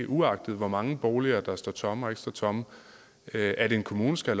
uagtet hvor mange boliger der står tomme eller ikke står tomme i at en kommune skal